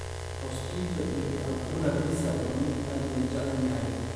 Prosciutto iyo arugula pizza waa mid aad loo jecel yahay.